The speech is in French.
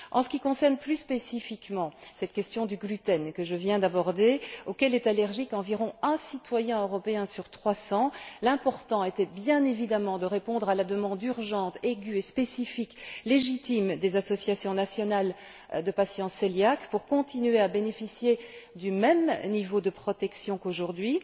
En ce qui concerne plus spécifiquement cette question du gluten, auquel est allergique environ un citoyen européen sur 300, l'important était, bien évidemment, de répondre à la demande urgente, aiguë, spécifique et légitime, des associations nationales de patients cœliaques de continuer à bénéficier du même niveau de protection qu'aujourd'hui.